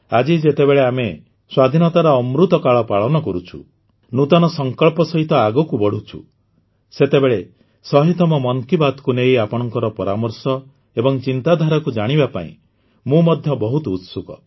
ଆଜି ଯେତେବେଳେ ଆମେ ସ୍ୱାଧୀନତାର ଅମୃତକାଳ ପାଳନ କରୁଛୁ ନୂତନ ସଂକଳ୍ପ ସହିତ ଆଗକୁ ବଢ଼ୁଛୁ ସେତେବେଳେ ୧୦୦ତମ ମନ୍ କି ବାତ୍କୁ ନେଇ ଆପଣଙ୍କ ପରାମର୍ଶ ଏବଂ ଚିନ୍ତାଧାରାକୁ ଜାଣିବା ପାଇଁ ମୁଁ ମଧ୍ୟ ବହୁତ ଉତ୍ସୁକ